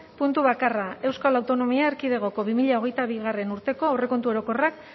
puntu bakarra euskal autonomia erkidegoko bi mila hogeita bigarrena urteko aurrekontu orokorrak